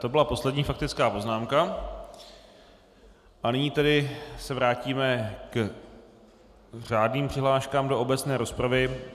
To byla poslední faktická poznámka a nyní tedy se vrátíme k řádným přihláškám do obecné rozpravy.